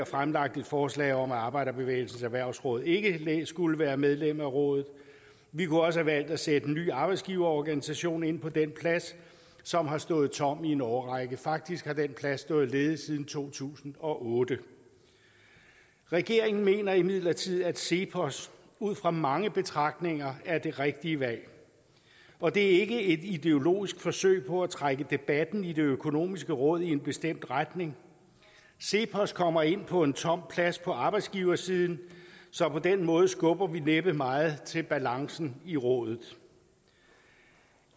fremlagt et forslag om at arbejderbevægelsens erhvervsråd ikke skulle være medlem af rådet vi kunne også have valgt at sætte en ny arbejdsgiverorganisation ind på den plads som har stået tom i en årrække faktisk har den plads stået ledig siden to tusind og otte regeringen mener imidlertid at cepos ud fra mange betragtninger er det rigtige valg og det er ikke et ideologisk forsøg på at trække debatten i det økonomiske råd i en bestemt retning cepos kommer ind på en tom plads på arbejdsgiversiden så på den måde skubber vi næppe meget til balancen i rådet